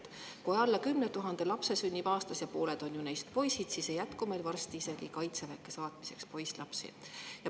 Kui aastas sünnib alla 10 000 lapse ja pooled neist on poisid, ei jätku meil varsti isegi kaitseväkke saatmiseks.